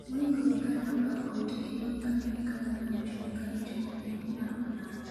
moingo ji gana apar owito ngimagi kane gikalo nam chumbi ka gichomo piny mar Ulaya